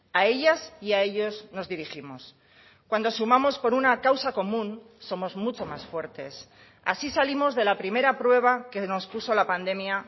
a ellas y a ellos nos dirigimos cuando sumamos por una causa común somos mucho más fuertes así salimos de la primera prueba que nos puso la pandemia